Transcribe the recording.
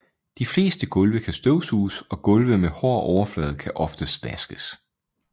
De fleste gulve kan støvsuges og gulve med hård overflade kan oftest vaskes